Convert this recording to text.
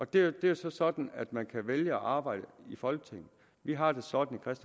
det er jo så sådan man kan vælge at arbejde i folketinget vi har det sådan hos